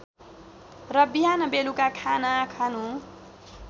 र बिहानबेलुका खाना खानु